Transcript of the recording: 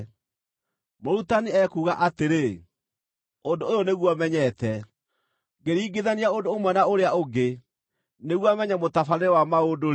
Mũrutani ekuuga atĩrĩ, “Ũndũ ũyũ nĩguo menyete: “Ngĩringithania ũndũ ũmwe na ũrĩa ũngĩ nĩguo menye mũtabarĩre wa maũndũ-rĩ,